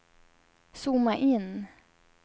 zooma in